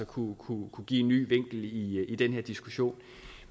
kunne kunne give en ny vinkel i den her diskussion